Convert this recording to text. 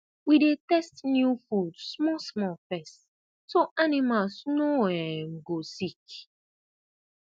we dey test new food small small first so animals no um go sick